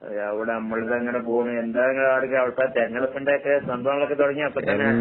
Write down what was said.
അതെയോ എവടെ അമ്മടെടുത്തങ്ങനെ പോണു. എന്താ ഇങ്ങടെ ആടൊക്കെ? അവടത്തെ തെരഞ്ഞെടുപ്പിന്റെയൊക്കെ സംഭവങ്ങളൊക്കെ തൊടങ്ങിയോ ഇപ്പത്തന്നെ?